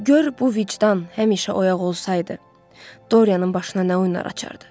Gör bu vicdan həmişə oyaq olsaydı, Dorianın başına nə oyunlar açardı.